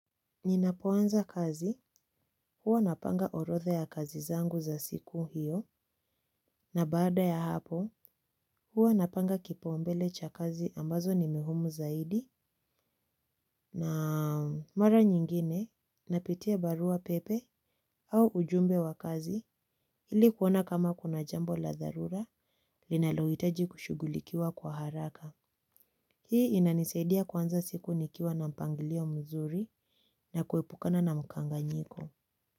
Ninapoanza kazi huwa napanga orotha ya kazi zangu za siku hiyo na baada ya hapo huwa napanga kipaombele cha kazi ambazo ni muhimu zaidi na mara nyingine napitia barua pepe au ujumbe wa kazi ilikuona kama kuna jambo la tharura linalohitaji kushughulikiwa kwa haraka. Hii inanisaidia kuanza siku nikiwa na mpangilio mzuri na kuepukana na mkanganyiko.